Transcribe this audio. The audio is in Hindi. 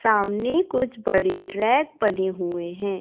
सामने कुछ बड़ी रैक बनी हुए हैं।